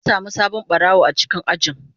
Mun samu sabon barawo a cikin ajin.